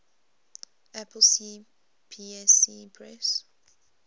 apple cpsc press